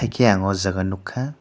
haike ang o jaga nogkha.